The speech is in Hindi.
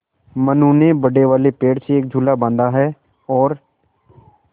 मनु ने बड़े वाले पेड़ से एक झूला बाँधा है और